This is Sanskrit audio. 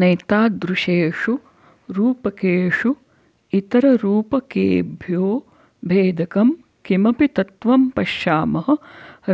नैतादृशेषु रूपकेषु इतररूपकेभ्यो भेदकं किमपि तत्त्वं पश्यामः